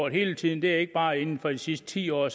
hele tiden det er ikke bare inden for de sidste ti år